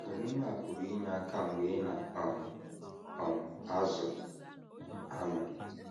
Omume a pụrụ inye aka mgbe ị na um - um azụ anụ.